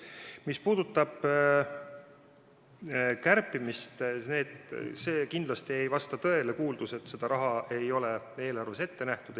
Mis puudutab kärpimist, kindlasti ei vasta tõele kuuldus, et seda raha ei ole ette nähtud.